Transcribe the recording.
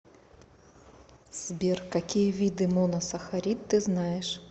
сбер какие виды моносахарид ты знаешь